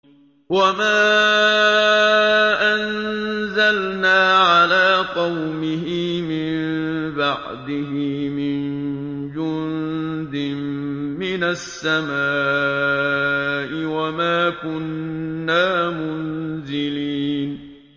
۞ وَمَا أَنزَلْنَا عَلَىٰ قَوْمِهِ مِن بَعْدِهِ مِن جُندٍ مِّنَ السَّمَاءِ وَمَا كُنَّا مُنزِلِينَ